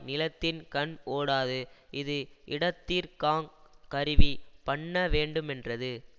நிலத்தின்கண் ஓடாது இது இடத்திற்காங் கருவி பண்ண வேண்டுமென்றது